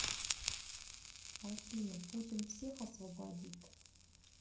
афина путин всех освободит